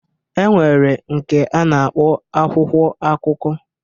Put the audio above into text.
E nwere nke a na-akpọ akwụkwọ akụkọ.